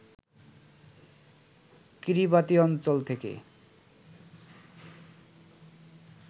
Kiribati অঞ্চল থেকে